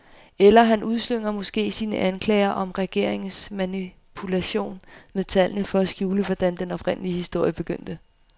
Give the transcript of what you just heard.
Eller han udslynger måske sine anklager om regeringens manipulation med tallene for at skjule, hvordan den oprindelige historie begyndte.